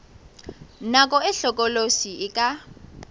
nako e hlokolosi e ka